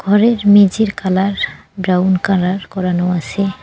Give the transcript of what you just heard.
ঘরের মেঝের colour brown colour করানো আছে।